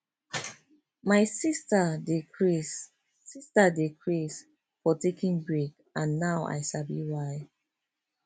my sister dey craze sister dey craze for taking break and now i sabi why